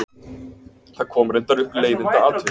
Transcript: Það kom reyndar upp leiðindaatvik.